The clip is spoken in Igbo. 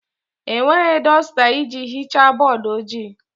Enweghị dọsta iji hichaa bọọdụ ojii.